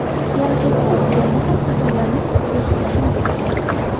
Planshetda o‘qiganda ham qatorlarning ostiga chizishim kerak.